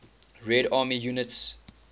red army units